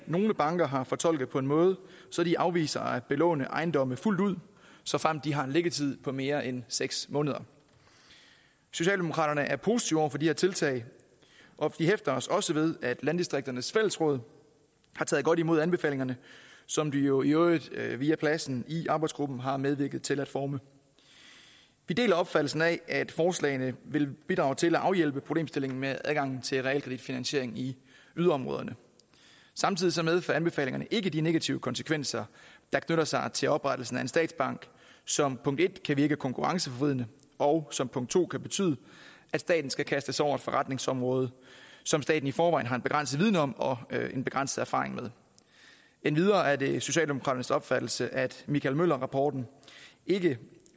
nogle banker har fortolket på en måde så de afviser at belåne ejendommene fuldt ud såfremt de har en liggetid på mere end seks måneder socialdemokraterne er positive over for de her tiltag og vi hæfter os også ved at landdistrikternes fællesråd har taget godt imod anbefalingerne som de jo jo via pladsen i arbejdsgruppen har medvirket til at forme vi deler opfattelsen af at forslagene vil bidrage til at afhjælpe problemstillingen med adgangen til realkreditfinansiering i yderområderne samtidig medfører anbefalingerne ikke de negative konsekvenser der knytter sig til oprettelsen af en statsbank som punkt en kan virke konkurrenceforvridende og som punkt to kan betyde at staten skal kaste sig over et forretningsområde som staten i forvejen har en begrænset viden om og en begrænset erfaring med endvidere er det socialdemokraternes opfattelse at michael møller rapporten ikke